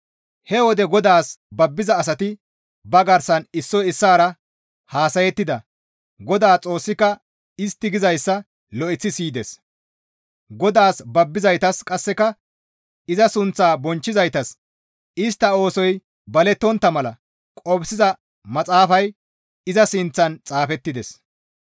He wode GODAAS babbiza asati ba garsan issoy issaara haasayettida Godaa Xoossika istti gizayssa lo7eththi siyides; GODAAS babbizaytas qasseka iza sunththaa bonchchizaytas istti oosoy balettontta mala qofsiza maxaafay iza sinththan xaafettides.